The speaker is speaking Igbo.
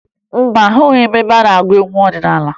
Mba, ahụghị m ebe a na-agụ egwu ọdịnaala